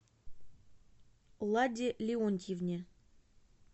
ладе леонтьевне